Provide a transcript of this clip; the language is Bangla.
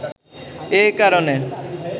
এ কারণে